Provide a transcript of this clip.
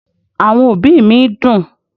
Àwọn òbí mi dùn